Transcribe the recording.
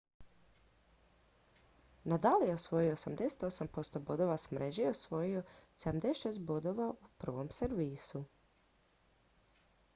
nadal je osvojio 88 % bodova s mreže i osvojio 76 bodova u prvom servisu